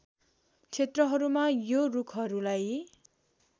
क्षेत्रहरूमा यो रुखहरूलाई